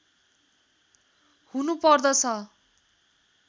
हुनु पर्दछ